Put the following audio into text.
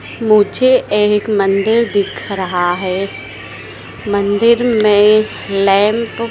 मुझे एक मंदिर दिख रहा है मंदिर में लैंप --